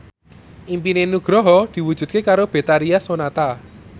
impine Nugroho diwujudke karo Betharia Sonata